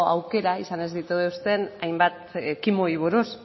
aukera izan ez dituzten hainbat ekimenei buruz